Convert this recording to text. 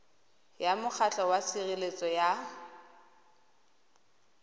ya mokgatlho wa tshireletso ya